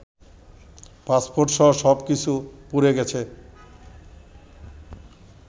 পাসপোর্টসহ সব কিছু পুড়ে গেছে